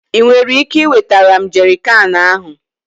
ị nwere ike iwetara m jerrycan ahụ?